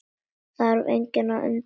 Þarf engan að undra það.